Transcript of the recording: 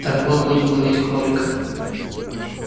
так вот будем ловить кролика